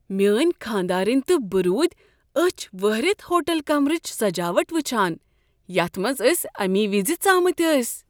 میٲنۍ خاندارینِۍ تہٕ بہٕ روٗدۍ اچھِ وہرِتھ ہوٹل کمرٕچہِ سجاوٹ وچھان یتھ منز أسۍ امی وزِ ژامٕتۍ ٲسۍ ۔